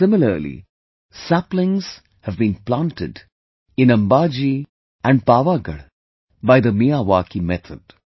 Similarly, saplings have been planted in Ambaji and Pavagadh by the Miyawaki method